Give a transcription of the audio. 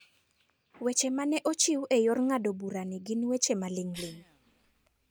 Weche ma ne ochiw e yor ng'ado burani gin weche maling'ling'.